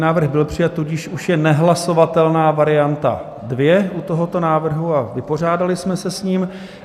Návrh byl přijat, tudíž už je nehlasovatelná varianta 2 u tohoto návrhu a vypořádali jsme se s ním.